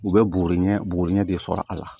U bɛ boro ɲɛ buguri ɲɛ de sɔrɔ a la